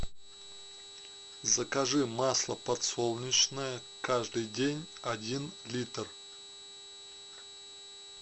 закажи масло подсолнечное каждый день один литр